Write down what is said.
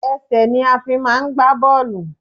Ẹsẹ̀ ni a fi máà ń gbá bọ́ọ̀lù.